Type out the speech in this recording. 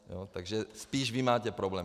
Takže spíš vy máte problém.